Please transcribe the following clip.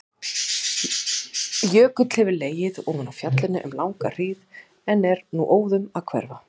Jökull hefur legið ofan á fjallinu um langa hríð en er nú óðum að hverfa.